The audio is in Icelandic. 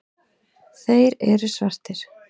Þeir eru svartir.